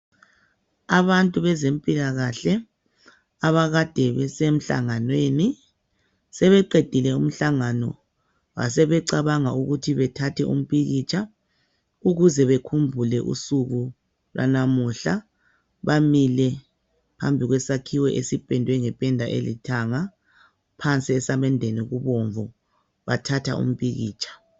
Abantu bezimpilakahle abakade besemhlanganweni sebeqedile umhlangano basebecabanga ukuthi bathathe umpikitsha ukuze bekhumbule usuku lwanamuhla. Bamile phambi kwesakhiwo esipendwe ngependa elithanga. Phansi esamendeni kubomvu bathatha umpikitsha.